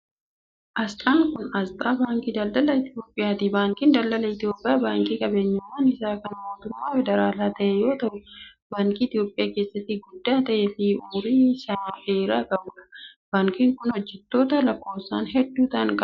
Asxaan kun, asxaa Baankii Daldala Itoophiyaati. Baankiin Daldala Itoophiyaa baankii qabeenyummaan isaa kan mootummaa federaalaa ta'e yoo ta'u, baankii Itoophiyaa keessatti guddaa ta'ee fi umurii isa dheeraa qabuu dha. Baankiin kun, hojjatoota lakkoofsan hedduu ta'an qaba.